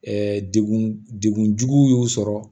degun degun jugu y'u sɔrɔ